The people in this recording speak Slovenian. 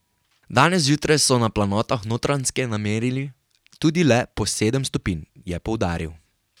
Danes zjutraj so na planotah Notranjske namerili tudi le po sedem stopinj, je poudaril.